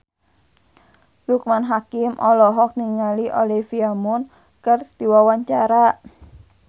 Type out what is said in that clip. Loekman Hakim olohok ningali Olivia Munn keur diwawancara